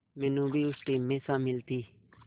मीनू भी उस टीम में शामिल थी